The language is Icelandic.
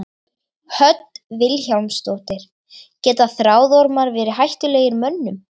Hödd Vilhjálmsdóttir: Geta þráðormar verið hættulegir mönnum?